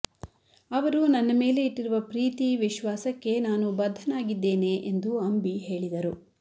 ಅವರು ನನ್ನ ಮೇಲೆ ಇಟ್ಟಿರುವ ಪ್ರೀತಿ ವಿಶ್ವಾಸಕ್ಕೆ ನಾನು ಬದ್ಧನಾಗಿದ್ದೇನೆ ಎಂದು ಅಂಬಿ ಹೇಳಿದರು